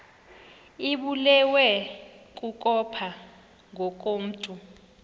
ibulewe kukopha ngokomntu